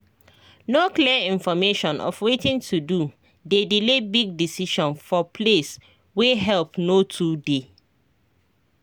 no clear information of watin to do dey delay big decision for place wey help no too dey